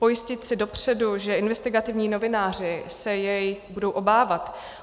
Pojistit si dopředu, že investigativní novináři se jej budou obávat.